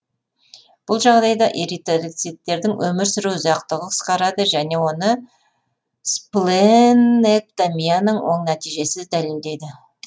бұл жағдайда эритроциттердің өмір сүру ұзақтығы қысқарады және оны спленэктомияның оң нәтижесі дәлелдейді